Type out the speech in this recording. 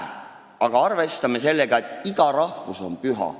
Me võiksime arvestada sellega, et iga rahvus on püha.